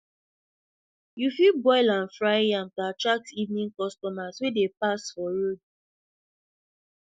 you fit boil and fry yam to attract evening customers wey dey pass for road